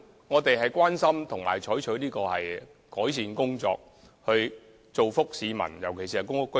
我們關注問題，並會採取改善措施，以造福市民，尤其是公屋居民。